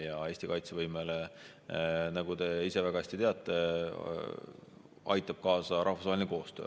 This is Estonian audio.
Ja Eesti kaitsevõimele, nagu te ise väga hästi teate, aitab kaasa rahvusvaheline koostöö.